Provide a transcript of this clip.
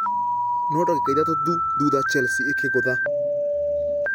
Nũ, dagĩka ithatũ thutha chelse ikĩgũtha.